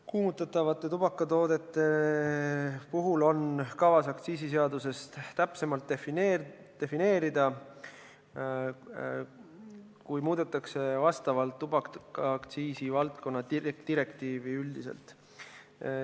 Kuumutatavad tubakatooted on kavas aktsiisiseaduses täpsemalt defineerida, kui muudetakse tubakaaktsiisi valdkonna vastavat direktiivi üldiselt.